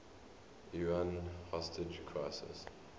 iran hostage crisis